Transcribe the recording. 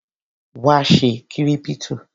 Wá ṣe kírípítò.